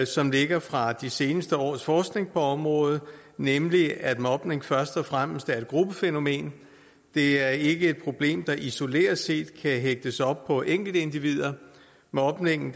som ligger fra de seneste års forskning på området nemlig at mobning først og fremmest er et gruppefænomen det er ikke et problem der isoleret set kan hægtes op på enkeltindivider mobning